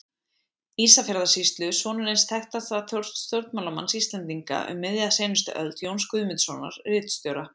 Ísafjarðarsýslu, sonur eins þekktasta stjórnmálamanns Íslendinga um miðja seinustu öld, Jóns Guðmundssonar, ritstjóra.